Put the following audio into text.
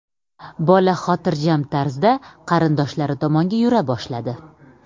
Bola xotirjam tarzda qarindoshlari tomonga yura boshladi.